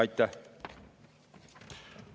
Aitäh!